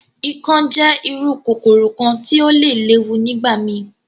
Ikán jẹ iru kokoro kan ti o le lewu nigbamii.